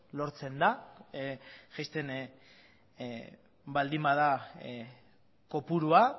lortzen da jaisten baldin bada kopurua